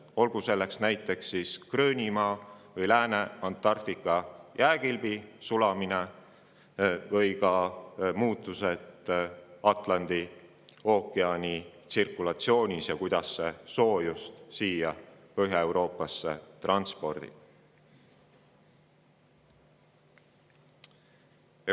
Olgu selleks näiteks Gröönimaa või Lääne-Antarktika jääkilbi sulamine, muutused Atlandi ookeani tsirkulatsioonis või see, kuidas see soojust siia Põhja-Euroopasse transpordib.